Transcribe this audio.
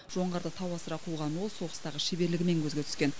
жоңғарды тау асыра қуған ол соғыстағы шеберлігімен көзге түскен